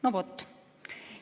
No vot.